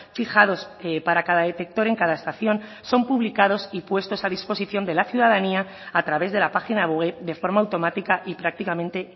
fijados para cada detector en cada estación son publicados y puestos a disposición de la ciudadanía a través de la página web de forma automática y prácticamente